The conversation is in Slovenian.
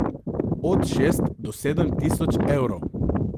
Od šest do sedem tisoč evrov.